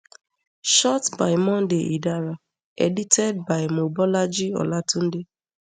shot by monday idara edited by mobolaji olatunde